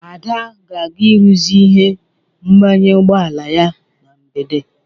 Ada ga-aga ịrụzi ihe mgbanye ụgbọala ya na mgbede.